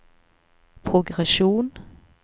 progresjon